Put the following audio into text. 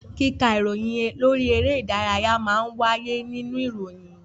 Kíka ìròyìn lórí eré ìdárayá náà má ń wáyé nínú ìròyìn